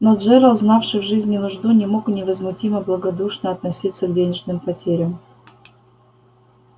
но джералд знавший в жизни нужду не мог невозмутимо и благодушно относиться к денежным потерям